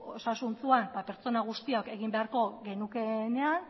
osasuntsuan pertsona guztiak egin beharko genukeenean